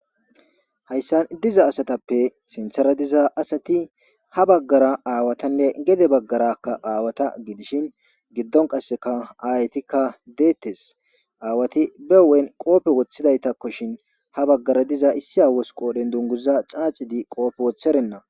Hayssan diza asatappe sinthera diza asati ha baggara aawatanne gede baggarakka aawata gidishin giddon qasseka aaytikka deettes. Aawati be hu7en qoope woththidaytakkoshin ha baggara diza issi aawozika dundunguza xaaxidi qoope woththerenna.